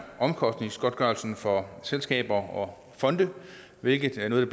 omkostningsgodtgørelsen for selskaber og fonde hvilket er noget